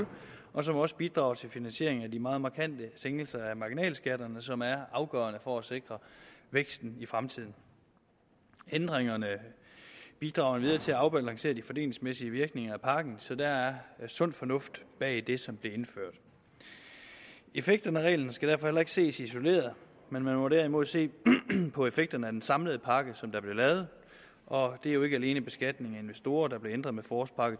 og som også bidrager til finansieringen af de meget markante sænkelser af marginalskatterne som er afgørende for at sikre væksten i fremtiden ændringerne bidrager endvidere til at afbalancere de fordelingsmæssige virkninger af pakken så der er sund fornuft bag det som blev indført effekterne af reglen skal derfor heller ikke ses isoleret man må derimod se på effekterne af den samlede pakke som der blev lavet og det er jo ikke alene beskatningen af investorer der blev ændret med forårspakke